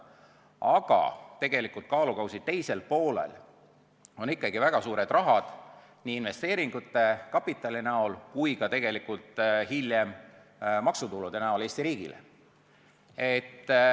Aga tegelikult on kaalukausi teisel poolel ikkagi väga suur raha, nii investeeringute ja kapitali kui tegelikult hiljem ka Eesti riigi maksutulude kujul.